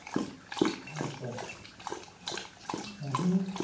ਅਛਾ